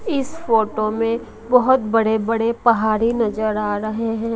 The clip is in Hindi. इस फोटो में बहोत बड़े बड़े पहाड़े नजर आ रहे हैं।